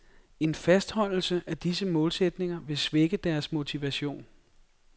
En fastholdelse af disse målsætninger vil svække deres motivation.